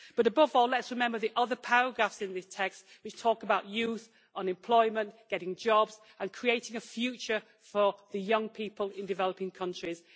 But, above all, let us remember the other paragraphs in this text which talk about youth, unemployment, getting jobs and creating a future for the young people in developing countries.